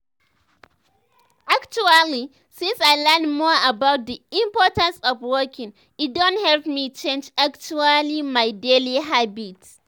actually since i learn more about the importance of walking e don help me change actually my daily habits.